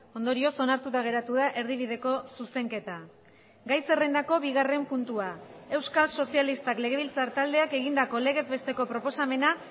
ondorioz onartuta geratu da erdibideko zuzenketa gai zerrendako bigarren puntua euskal sozialistak legebiltzar taldeak egindako legez besteko proposamena